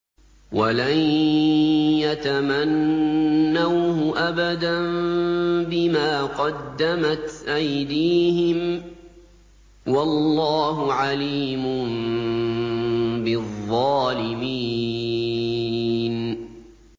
وَلَن يَتَمَنَّوْهُ أَبَدًا بِمَا قَدَّمَتْ أَيْدِيهِمْ ۗ وَاللَّهُ عَلِيمٌ بِالظَّالِمِينَ